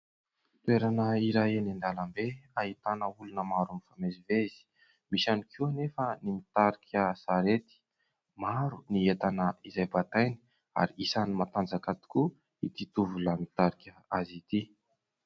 Toerana iray eny an-dalambe ahitana olona maro mifamezivezy. Misy ihany koa anefa ny mitarika sarety. Maro ny entana izay bataina ary isan'ny matanjaka tokoa itỳ tovolahy mitarika azy itỳ.